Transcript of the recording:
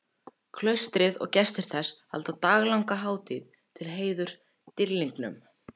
Klaustrið og gestir þess halda daglanga hátíð til heiðurs dýrlingnum.